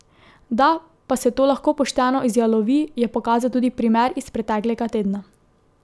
Da pa se to lahko pošteno izjalovi, je pokazal tudi primer iz preteklega tedna.